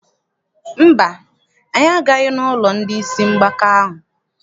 Mba, anyị agaghị n'ụlọ ndị isi mgbaka ahụ.